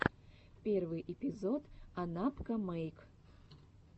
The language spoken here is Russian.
первый эпизод анапкамэйк